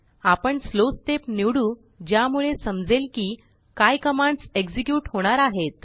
आपण Slowस्टेप निवडू ज्यामुळे समजेल कि काय कमांड्सएक्झेक्यूटहोणार आहेत